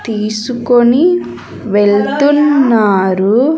తీసుకొని వెళ్తున్నారు.